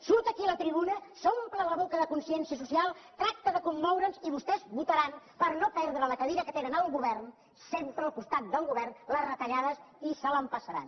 surt aquí a la tribuna s’omple la boca de consciència social tracta de commoure’ns i vostès votaran per no perdre la cadira que tenen al govern sempre al costat del govern la retallada i se l’empassaran